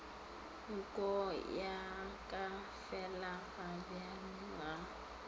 nko ya ka felagabjale ga